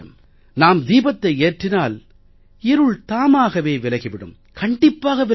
நாம் தீபத்தை ஏற்றினால் இருள் தாமாகவே விலகி விடும் கண்டிப்பாக விலகும்